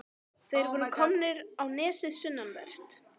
Þeir voru komnir á nesið sunnanvert.